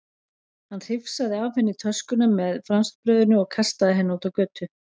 Hann hrifsaði af henni töskuna með franskbrauðinu og kastaði henni út á götu.